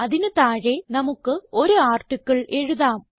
അതിന് താഴെ നമുക്ക് ഒരു ആർട്ടിക്കിൾ എഴുതാം